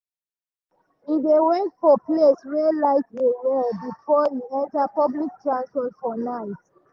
e dey wait for places wey light dey well before e enter public transport for night.